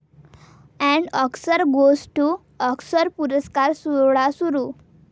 and Oscar goes to Oscar पुरस्कार सोहळा सुरू